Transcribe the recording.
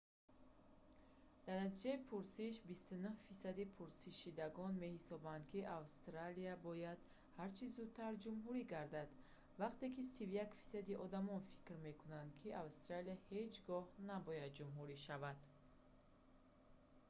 дар натиҷаи пурсиш 29 фисади пурсидашудагон меҳисобанд ки австралия бояд ҳарчӣ зудтар ҷумҳурӣ гардад вақте ки 31 фисади одамон фикр мекунанд ки австралия ҳеҷ гоҳ набояд ҷумҳурӣ шавад